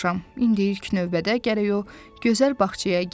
İndi ilk növbədə gərək o gözəl bağçaya girəm.